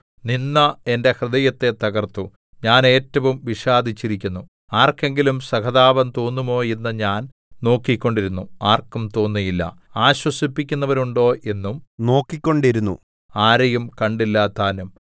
നിന്ദ എന്റെ ഹൃദയത്തെ തകർത്തു ഞാൻ ഏറ്റവും വിഷാദിച്ചിരിക്കുന്നു ആർക്കെങ്കിലും സഹതാപം തോന്നുമോ എന്ന് ഞാൻ നോക്കിക്കൊണ്ടിരുന്നു ആർക്കും തോന്നിയില്ല ആശ്വസിപ്പിക്കുന്നവരുണ്ടോ എന്നും നോക്കിക്കൊണ്ടിരുന്നു ആരെയും കണ്ടില്ലതാനും